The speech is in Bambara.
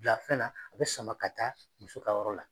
bila fɛn na a bɛ sama ka taa muso ka yɔrɔ la.